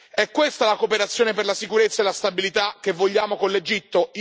È questa la cooperazione per la sicurezza e la stabilità che vogliamo con l'Egitto?